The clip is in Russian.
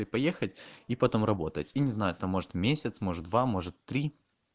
и поехать и потом работать и не знаю кто может месяц может два может три